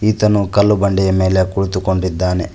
ಈತನು ಕಲ್ಲು ಬಂಡೆಯ ಮೇಲೆ ಕುಳಿತುಕೊಂಡಿದ್ದಾನೆ.